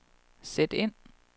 sæt ind